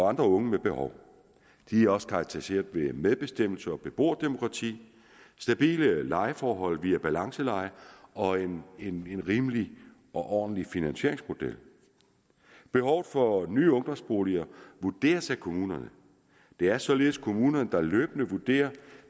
andre unge med behov de er også karakteriseret ved medbestemmelse og beboerdemokrati stabile lejeforhold via balanceleje og en rimelig og ordentlig finansieringsmodel behovet for nye ungdomsboliger vurderes af kommunerne det er således kommunerne der løbende vurderer